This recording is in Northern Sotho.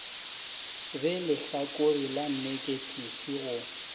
be lehlakore la neketifi go